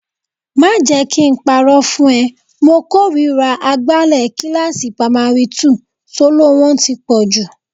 Má jẹ kí n parọ́ fún ẹ, mo kórìíra agbálẹ̀ kíláàsì pamari túù, soló wọn ti pọ̀jù